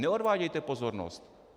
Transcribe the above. Neodvádějte pozornost.